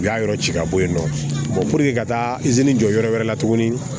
U y'a yɔrɔ ci ka bɔ yen nɔ ka taa izini jɔ yɔrɔ wɛrɛ la tuguni